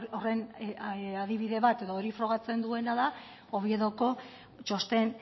horren adibide bat edo hori frogatzen duena da oviedoko txosten